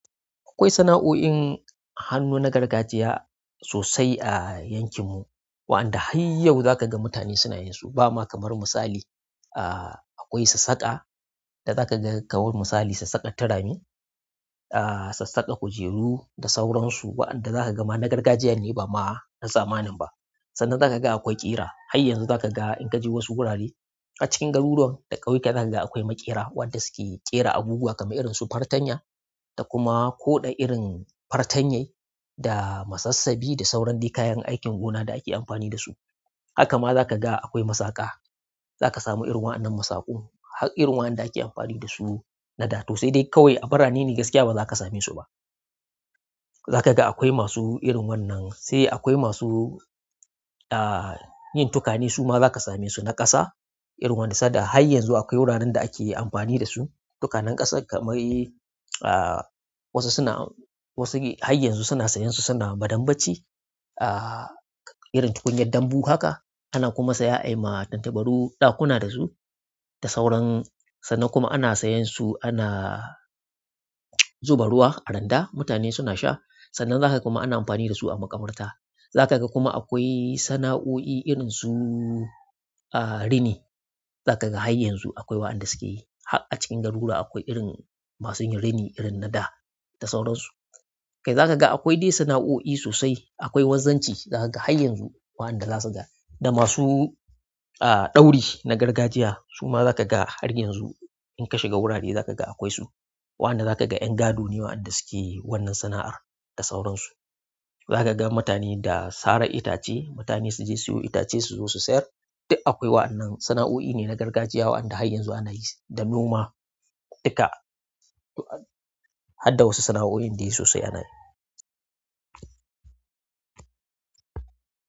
Akwai sana'o'in hannu na gargajiya sosai a yankin mu. Waɗanda har yau za ka ga mutane suna yin su. Ba ma kamar misali, ah, akwai sassaka da za ka ga kamar misali sassaka turame, ah, sassaka kujeru da sauransu. Waɗanda za ka ga ma na gargajiya ne ba ma na zamanin ba. Sannan za ka ga akwai ƙira. Har yanzu za ka ga in ka je wasu gurare a cikin garuruwan da ƙauyuka, za ka ga akwai maƙera waɗanda suke ƙera abubuwa kamar irin su fartanya da kuma koɗa irin fartanyai da masassabi da sauran dai kayan aikin gona da ake amfani da su. Haka ma za ka ga akwai masaƙa. Zaka samu irin wayannan musakun. Har irin waɗanda ake amfani da su na da to. Sai dai kawai a birane ne gaskiya ba za ka same su ba. Za ka ga akwai masu irin wannan. Sai akwai masu, ah, yin tukane su ma za ka same su na ƙasa irin wanda sanda har yanzu akwai wuraren da ake amfani da su. Tukanan ƙasa kamar yi, ah, wasu suna, wasu har yanzu suna sayan su suna madambaci. Ah, irin tukunyar dambu haka. Ana kuma saya ayi ma tantabaru ɗakuna da su da sauran. Sannan kuma ana sayan su ana zuba ruwa a randa mutane suna sha. Sannan za ka ga kuma ana amfani da su a makabarta. Za ka ga kuma akwai sana'o'i irin su, ah, rini. Za ka ga har yanzu akwai waɗanda suke yi. Har a cikin garuruwa akwai irin masu yin rini irin na da, da sauransu. Kai za ka ga akwai dai sana'o'i sosai. Akwai wanzacci za ka ga har yanzu. Wayanda zakaga da masu aa ɗauri na gargajiya suma zakaga haryanzu inka shiga wurare zakaga akwai su. Waɗanda za ka ga 'yan gado ne waɗanda suke wannan sana'ar da sauransu. Za ka ga mutane da sara itace. Mutane su je siyo itace su zo su sayar. Duk akwai wa'annan sana'o'i ne na gargajiya waɗanda har yanzu ana yi su da noma. Duka, har da wasu sana'o'in dai sosai ana yi.